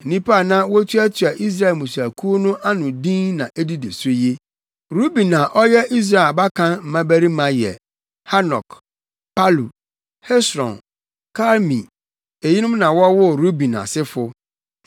Nnipa a na wotuatua Israel mmusuakuw no ano no din na edidi so yi: Ruben a ɔyɛ Israel abakan mmabarima yɛ: Hanok, Palu, Hesron, Karmi. Eyinom na wɔwoo Ruben asefo.